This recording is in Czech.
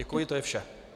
Děkuji, to je vše.